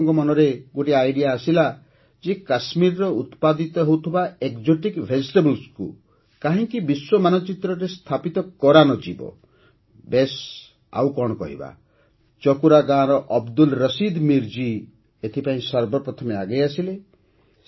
କିଛି ଲୋକଙ୍କ ମନରେ ଗୋଟିଏ ଆଇଡିଆ ଆସିଲା ଯେ କାଶ୍ମୀରରେ ଉତ୍ପାଦିତ ହେଉଥିବା exotic vegetablesକୁ କାହିଁକି ବିଶ୍ୱ ମାନଚିତ୍ରରେ ସ୍ଥାପିତ କରାନଯିବ ବେଶ୍ ଆଉ କ'ଣ କହିବା ଚକୁରା ଗାଁର ଅବଦୁଲ୍ ରସିଦ ମୀର ଜୀ ଏଥିପାଇଁ ସର୍ବପ୍ରଥମେ ଆଗେଇ ଆସିଲେ